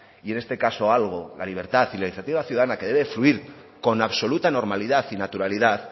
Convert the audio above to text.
y en este caso algo la libertad y la iniciativa ciudadana que debe fluir con absoluta normalidad y naturalidad